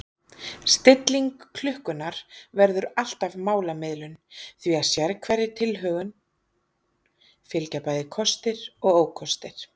Stilling klukkunnar verður alltaf málamiðlun því að sérhverri tilhögun fylgja bæði kostir og ókostir.